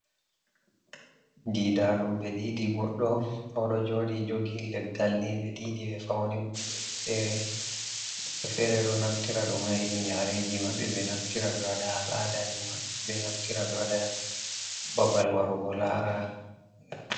Diidaɗum. Ɓe diidii goɗɗo oɗo jooɗi jogi leggal nii, ɓe diidii ɓe fauni kujeji feere. Woɓɓe feere ɗo naftira ɗum haa irin yaare ji maɓɓe. Ɓe naftira ɓe waɗa al-ada ji maɓɓe. Ɓe naftira ɓe waɗa babal warugo laara.